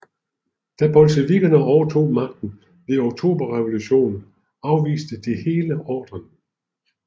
Da bolsjevikkerne overtog magten ved Oktoberrevolutionen afviste de hele ordren